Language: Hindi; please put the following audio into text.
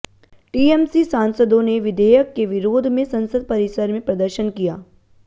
टीएमसी सांसदों ने विधेयक के विरोध में संसद परिसर में प्रदर्शन किया